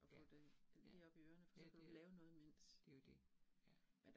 Ja, ja. Ja det, det jo det, ja